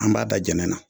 An b'a da jɛnɛ na